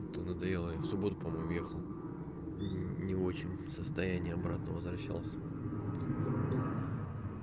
то надоело и в субботу по-моему ехал не очень состояние обратно возвращался